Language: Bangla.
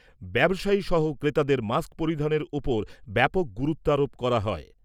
ব্যবসায়ী সহ ক্রেতাদের মাস্ক পরিধানের ওপর ব্যাপক গুরুত্বারোপ করা হয়।